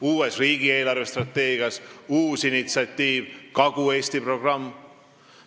Tulevas riigi eelarvestrateegias on uus initsiatiiv, Kagu-Eesti programm.